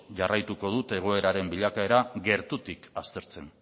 jarraituko dut egoeraren bilakaera gertutik aztertzen